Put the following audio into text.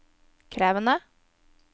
krevende